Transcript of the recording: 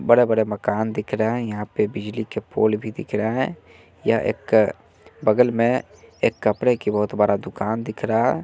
बड़े बड़े मकान दिख रहे हैं यहां पे बिजली के पोल भी दिख रहे हैं यह एक बगल में एक कपड़े की बहुत बड़ा दुकान दिख रहा है।